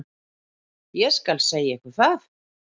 Ég skal segja ykkur það.